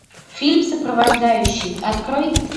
фильм сопровождающий открой